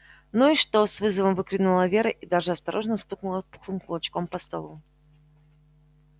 ну и что с вызовом выкрикнула вера и даже осторожно стукнула пухлым кулачком по столу